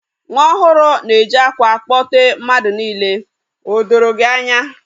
Nwa ọhuru na-eji akwa akpote mmadu niile. O doro gi anya?